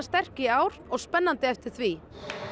sterk í ár og spennandi eftir því